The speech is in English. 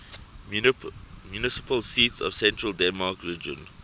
municipal seats of central denmark region